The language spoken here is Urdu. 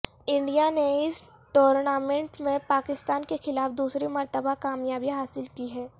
انڈیا نے اس ٹورنامنٹ میں پاکستان کے خلاف دوسری مرتبہ کامیابی حاصل کی ہے